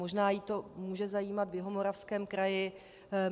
Možná ji to může zajímat v Jihomoravském kraji.